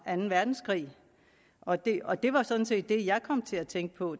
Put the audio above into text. anden verdenskrig og det og det var sådan set det jeg kom til at tænke på